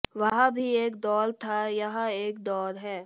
वह भी एक दौर था यह एक दौर है